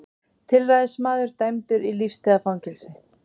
Tilræðismaður dæmdur í lífstíðarfangelsi